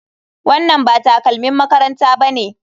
Wannan ba takalmin makaranta bane.